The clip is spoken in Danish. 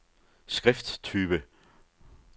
skrifttype